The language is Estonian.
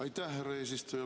Aitäh, härra eesistuja!